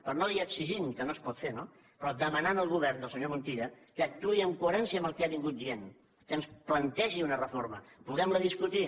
per no dir exigint que no es pot fer no però demanant al govern del senyor montilla que actuï amb coherència amb el que ha anat dient que ens plantegi una reforma que la puguem discutir